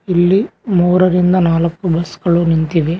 ಇಲ್ಲಿ ಮುರರಿಂದ ನಾಲ್ಕು ಬಸ್ ಗಳು ನಿಂತಿವೆ.